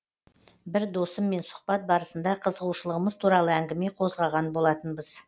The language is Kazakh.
бір досыммен сұхбат барысында қызығушылығымыз туралы әңгіме қозғаған болатынбыз